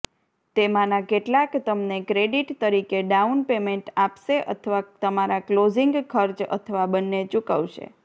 તેમાંના કેટલાક તમને ક્રેડિટ તરીકે ડાઉન પેમેન્ટ આપશે અથવા તમારા ક્લોઝિંગ ખર્ચ અથવા બંને ચૂકવશે